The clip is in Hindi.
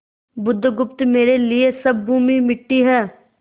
बुधगुप्त मेरे लिए सब भूमि मिट्टी है